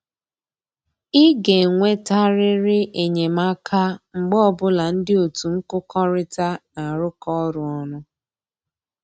Ị ga-enwetarịrị enyemaka mgbe ọbụla ndị otu nkụkọrịta na-arụkọ ọrụ ọnụ